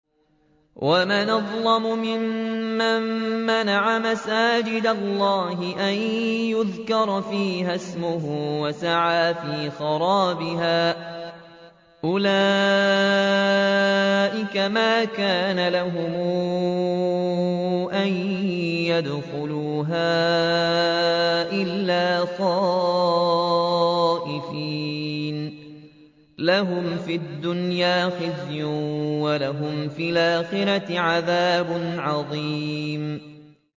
وَمَنْ أَظْلَمُ مِمَّن مَّنَعَ مَسَاجِدَ اللَّهِ أَن يُذْكَرَ فِيهَا اسْمُهُ وَسَعَىٰ فِي خَرَابِهَا ۚ أُولَٰئِكَ مَا كَانَ لَهُمْ أَن يَدْخُلُوهَا إِلَّا خَائِفِينَ ۚ لَهُمْ فِي الدُّنْيَا خِزْيٌ وَلَهُمْ فِي الْآخِرَةِ عَذَابٌ عَظِيمٌ